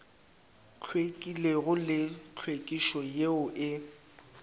hlwekilego le tlhwekišo yeo e